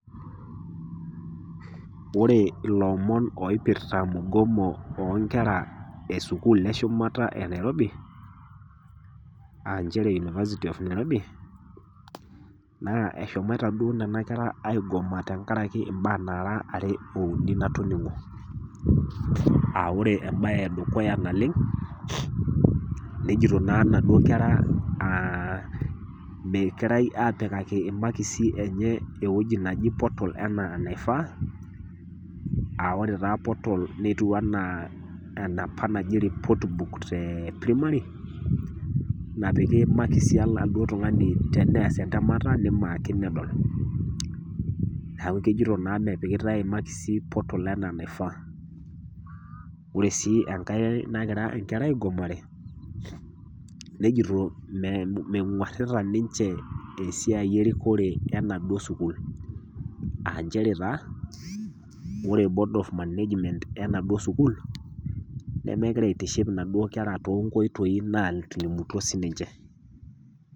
Ore ilomon oipirita mugomo o nkera e shumata e Nairobi, a nchere University of Nairobi, naa eshomoito duo Nena kera aigoma tenkaraki imbaa naara are o uni natoming'o. Amu ore embae e dukuya naleng', nejoito naa inaduo kera megirai apikaki imakisi enye ewueji naji portal anaa eneifaa aa ore taa portal etiu anaa enapa naji report book te primary, napiki imakisi e laduo tung'ani teneas entemata neimaaki nedol. Neaku ejoito naa mepikitai imakisi portal anaa enaifaa. Ore sii enkai nagirai inkera aigomare nejoito meng'warita ninche esiai erikore e naduo sukuul, aa nchere taa ore taa board of management e naduo sukuul, nemegira aitiship inaduo kera too inkoitoi naatilimutuo sininche.